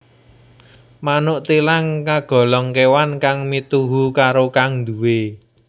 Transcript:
Manuk thilang kagolong kewan kang mituhu karo kang nduwé